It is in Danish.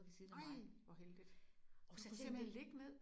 Nej hvor heldigt! Så du kunne simpelthen ligge ned?